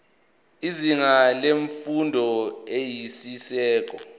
izinga lemfundo eyisisekelo